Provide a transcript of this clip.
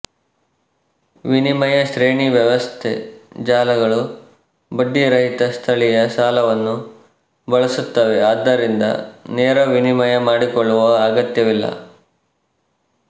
ವಿನಿಮಯ ಶ್ರೇಣಿ ವ್ಯವಸ್ಥೆ ಜಾಲಗಳು ಬಡ್ಡಿ ರಹಿತ ಸ್ಥಳೀಯ ಸಾಲವನ್ನು ಬಳಸುತ್ತವೆ ಆದ್ದರಿಂದ ನೇರ ವಿನಿಮಯ ಮಾಡಿಕೊಳ್ಳುವ ಅಗತ್ಯವಿಲ್ಲ